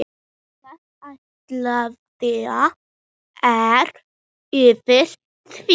Hvaða ástæða er fyrir því?